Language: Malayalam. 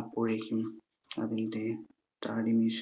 അപ്പോഴേക്കും അതിന്റെ താടി മീശ